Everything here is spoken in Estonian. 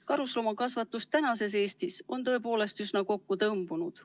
Karusloomakasvatus tänases Eestis on tõepoolest üsna kokku tõmbunud.